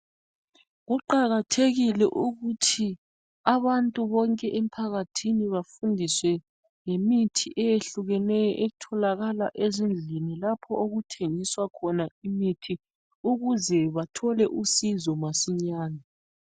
Kuqakathekile ukuthi abantu bonke emphakathini bafundiswe ngemithi eyehlukeneyo etholakala ezindlini lapha okuthengiswa khona imithi ukuze bathole usizo masinyane.